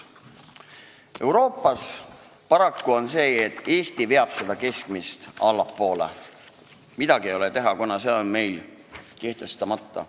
Euroopas on paraku nii, et Eesti veab keskmist tasu allapoole, midagi ei ole teha, kuna meil on selle suurus siiani kehtestamata.